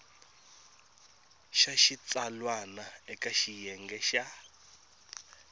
xa xitsalwana eka xiyenge xa